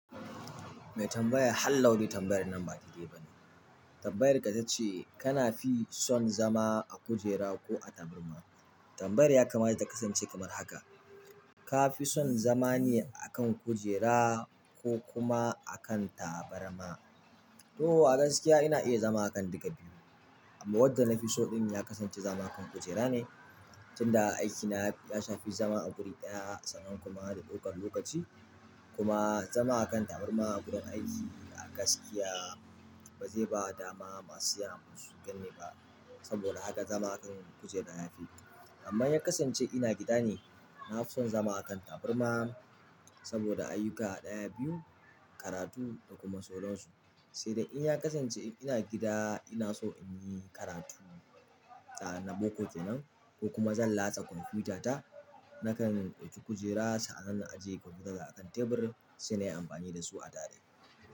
Mai tambaya halaudai tambayar nan ba dai dai ba ne. Tambayar ka ta ce kana fi son zama a kujera ko a tabarma. Tambayar ya kamata ta kasance kamar haka. Ka fi son zama ne a kan kujera ko kuma a kan tabarma? To a gaskiya ina iya zama a kan duka biyu, amma wadda na fi so ɗin ya kasance zama a kan kujera ne. Tunda aikina ya shafi zama a guri ɗaya sannan kuma da ɗaukar lokaci kuma zama a kan tabarma a gurin aiki a gaskiya ba zai ba dama masu siyan abu su ganni ba. Saboda haka zama a kan kujera ya fi. Amma ya kasance ina gida ne, na fi son zama a kan tabarma saboda ayyuka ɗaya biyu, karatu da kuma sauran su. Sai dai in ya kasance ina gida ina so in yi karatu ah na boko kenan ko kuma zan latsa kwamfutata nakan ɗauki kujera sa anan na ajiye kwamfutata a kan tebur sai na yi amfani da su a tare.